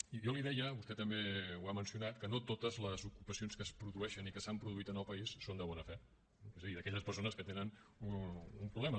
i jo li deia vostè també ho ha mencionat que no totes les ocupacions que es produeixen i que s’han produït en el país són de bona fe és a dir d’aquelles persones que tenen un problema